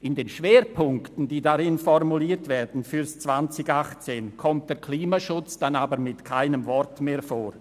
In den Schwerpunkten, die darin für das Jahr 2018 formuliert werden, kommt der Klimaschutz dann aber mit keinem Wort mehr vor.